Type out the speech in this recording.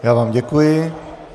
Já vám děkuji.